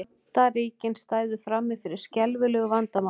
Bandaríkin stæðu frammi fyrir skelfilegu vandamáli